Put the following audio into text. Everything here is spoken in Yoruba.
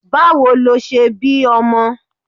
Báwo lo ṣe bí ọmọ?